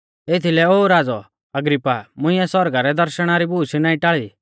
एथीलै ओ राज़ौ अग्रिप्पा मुंइऐ सौरगा रै दर्शणा री बूश नाईं टाल़ी